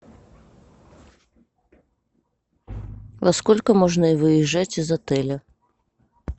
во сколько можно выезжать из отеля